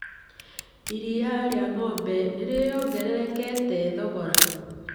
Iria rĩa ng'ombe nĩ rĩongererekete thogora.